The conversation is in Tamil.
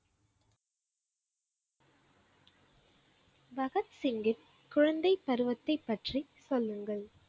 பகத் சிங்கின் குழந்தைப் பருவத்தைப் பற்றிச் சொல்லுங்கள்.